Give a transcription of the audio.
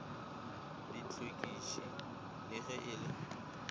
dihlwekiši le ge e le